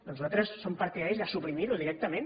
doncs nosaltres som partidaris de suprimir ho directament